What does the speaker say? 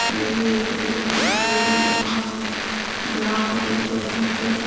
railway station दिखाई दे रहा है जहां पर ये पैसेंजर --